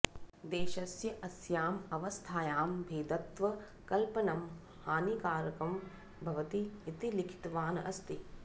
देशस्य अस्याम् अवस्थायां भेदत्व कल्पनं हानिकरं भवति इति लिखितवान् अस्ति